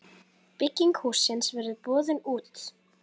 Bygging hússins verður boðin út.